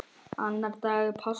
Annar dagur páska.